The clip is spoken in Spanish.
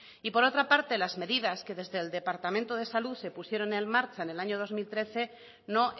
y por otra parte las medidas que desde el departamento de salud se pusieron en marcha en el año dos mil trece no